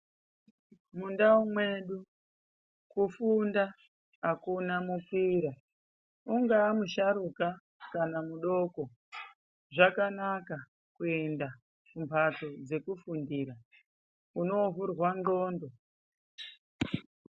Mundau mwedu kufunda akuna mukira ungaamusharuka kana mudoko zvakanaka kuenda kumbatso dzokufundira unovhurwa ndxondo.